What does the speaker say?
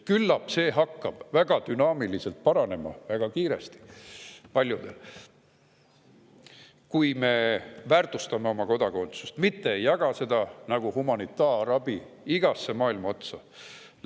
Küllap see hakkab paljudel väga kiiresti ja väga dünaamiliselt paranema, kui me väärtustame oma kodakondsust, mitte ei jaga seda nagu humanitaarabi igasse maailma otsa.